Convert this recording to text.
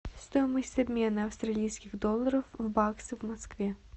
стоимость обмена австралийских долларов в баксы в москве